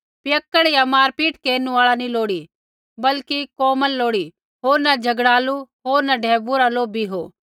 पियक्कड़ या मारपीट केरनु आल़ा नी लोड़ी वरन् कोमल लोड़ी होर न झ़गड़ालू होर न ढैबुऐ रा लोभी हो